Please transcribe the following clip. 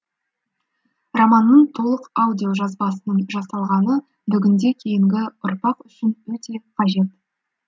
романның толық аудиожазбасының жасалғаны бүгінде кейінгі ұрпақ үшін өте қажет